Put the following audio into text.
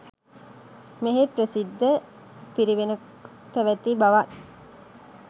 මෙහි ප්‍රසිද්ධ පිරිවෙනක් පැවැති බවත්